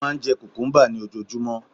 Ó máà ń jẹ cucumber ní ojoojúmọ́